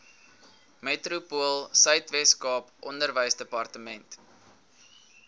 metropoolsuid weskaap onderwysdepartement